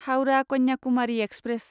Howrah Kanyakumari express